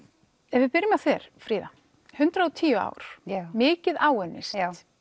ef við byrjum á þér Fríða hundrað og tíu ár mikið áunnist